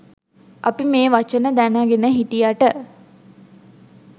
අපි මේ වචන දැනගෙන හිටියට